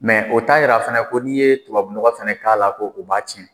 o t'a yira fɛnɛ ko n'i ye tubabunɔgɔ fɛnɛ k'a la ko o b'a tiɲɛ.